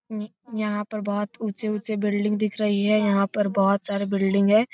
यहाँ पर ऊंचे-ऊंचे बिल्डिंग दिख रही है यहाँ पर बहुत सारे बिल्डिंग है।